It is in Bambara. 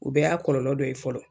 O bɛɛ y'a kɔlɔlɔ dɔ ye fɔlɔ.